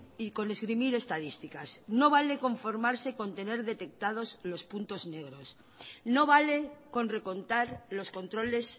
y con esgrimir estadísticas no vale conformarse con tener detectados los puntos negros no vale con recontar los controles